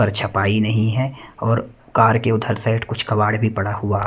पर छपाई नहीं हैं और कार के उधर साइड कुछ कबाड़ भी पड़ा हुआ--